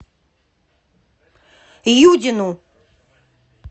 юдину